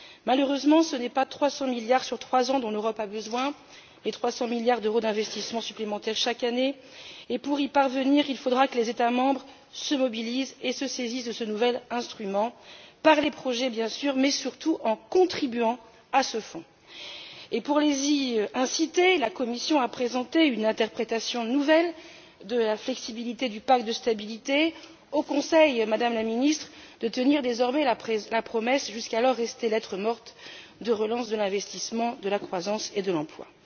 Malheureusement, ce n'est pas 300 milliards sur trois ans dont l'Europe a besoin, mais 300 milliards d'euros d'investissements supplémentaires chaque année, et, pour y parvenir, il faudra que les États membres se mobilisent et se saisissent de ce nouvel instrument par les projets, bien sûr, mais surtout en contribuant à ce Fonds. Et pour les y inciter, la Commission a présenté une interprétation nouvelle de la flexibilité du pacte de stabilité. Au Conseil, Madame la Ministre, de tenir désormais la promesse, jusqu'alors restée lettre morte, de relance de l'investissement, de la croissance et de l'emploi.